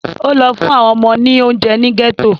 Ó lọ fún àwọn ọmọ ní oúnje ní gẹ́tò